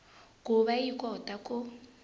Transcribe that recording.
ku va yi kota ku